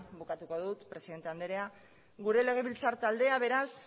bukatu dut presidente andrea gure legebiltzar taldea beraz